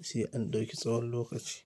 sai an ɗauki tsawon lokaci.